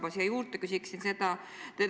Ja siia juurde küsiksin seda.